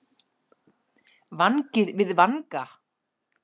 Vangi við vanga.